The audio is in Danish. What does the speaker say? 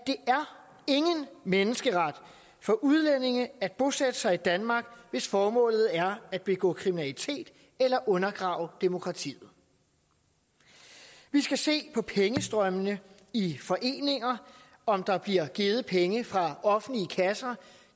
ingen menneskeret for udlændinge at bosætte sig i danmark hvis formålet er at begå kriminalitet eller at undergrave demokratiet vi skal se på pengestrømmene i foreninger om der bliver givet penge fra offentlige kasser